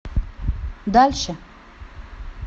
дальше